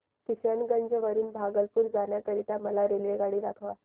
किशनगंज वरून भागलपुर जाण्या करीता मला रेल्वेगाडी दाखवा